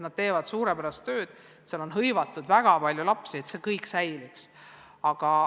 Nad teevad suurepärast tööd, seal käib väga palju lapsi ja me tahame, et see kõik säiliks.